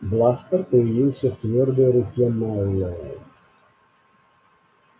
бластер появился в твёрдой руке мэллоу